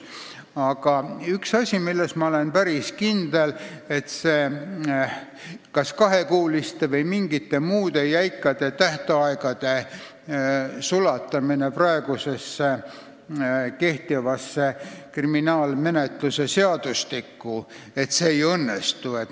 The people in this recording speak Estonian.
Aga on üks asi, milles ma olen päris kindel: kahekuuliste või mingite muude jäikade tähtaegade sulatamine kehtivasse kriminaalmenetluse seadustikku ei õnnestu.